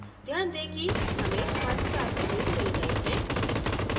ध्यान दें कि हमें हमारे 4 menus मिल गए हैं